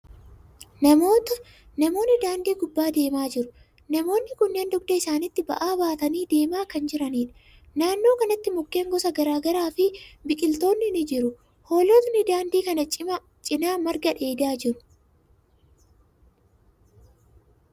Namootni daandii gubbaa deemaa jiru. Namootni kunneen dugda isaanitti ba'aa baatanii deemaa kan jiraniidha. Naannoo kanatti mukkeen gosa garagaraa fi biqiltootni ni jiru. Hoolotni daandii kana cinaa marga dheedaa jiru.